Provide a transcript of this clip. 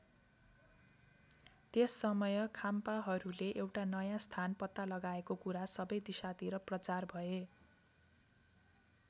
त्यस समय खाम्पाहरूले एउटा नयाँ स्थान पत्ता लगाएको कुरा सबै दिशातिर प्रचार भए।